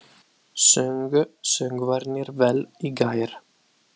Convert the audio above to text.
Sungu söngvararnir vel í gær?